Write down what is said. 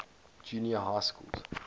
junior high schools